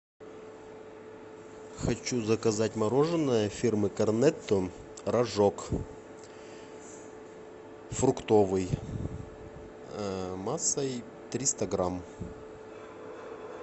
хочу заказать мороженое фирмы корнетто рожок фруктовый массой триста грамм